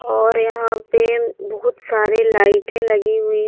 और यहां पे बहुत सारे लाइटें लगी हुई है।